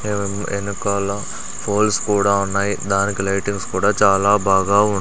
ఎనకాల ఫోల్స్ కూడా ఉన్నాయి దానికి లైటింగ్స్ కూడా చాలా బాగా ఉన్ --